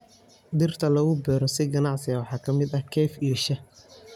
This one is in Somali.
Dhirta lagu beero si ganacsi waxaa ka mid ah kafee iyo shaah.